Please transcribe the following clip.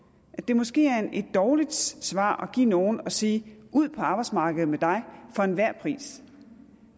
det måske er et dårligt svar at give nogle at sige ud på arbejdsmarkedet med dig for enhver pris